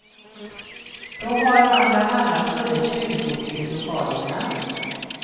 Då har man bland annat funnit tjuvgods i lokalerna.